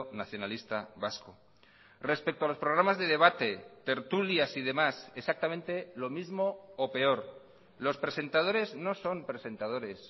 nacionalista vasco respecto a los programas de debate tertulias y demás exactamente lo mismo o peor los presentadores no son presentadores